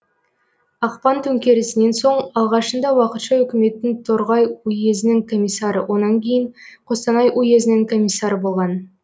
ақпан төңкерісінен соң алғашында уақытша өкіметтің торғай уезінің комиссары онан кейін қостанай уезінің комиссары болған